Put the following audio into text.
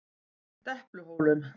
Depluhólum